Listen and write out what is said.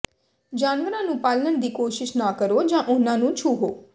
ਜਾਨਵਰਾਂ ਨੂੰ ਪਾਲਣ ਦੀ ਕੋਸ਼ਿਸ਼ ਨਾ ਕਰੋ ਜਾਂ ਉਨ੍ਹਾਂ ਨੂੰ ਛੂਹੋ